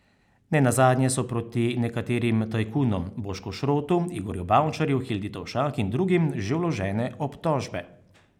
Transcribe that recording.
Ne nazadnje so proti nekaterim tajkunom, Bošku Šrotu, Igorju Bavčarju, Hildi Tovšak in drugim, že vložene obtožbe.